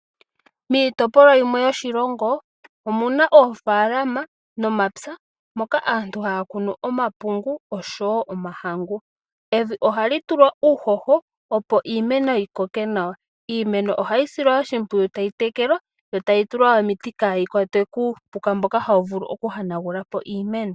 Miitopolwa yimwe yoshilongo, omuna oofaalama nomapya moka aantu haa kunu omapungu, oshowo omahangu. Evi ohali tulwa uuhoho, opo iimeno yikoke nawa. Iimeno ohayi silwa oshimpwiyu tayi tekelwa, yo tayi tulwa omiti opo kaayi yonagulwe kuupuka mboka hawu vulu oku yonagula po iimeno.